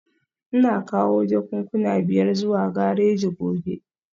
Ina kawo jakunkuna biyar zuwa gareji gobe